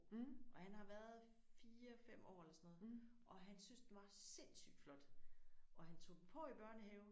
Og han har været 4 5 år eller sådan noget og han syntes den var sindssygt flot og han tog den på i børnehaven